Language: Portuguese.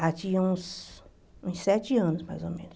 Ah tinha uns sete anos, mais ou menos.